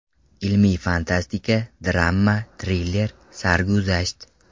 Ilmiy-fantastika, drama, triller, sarguzasht.